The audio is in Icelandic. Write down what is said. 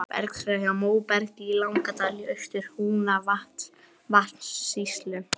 Bergskriða hjá Móbergi í Langadal í Austur-Húnavatnssýslu.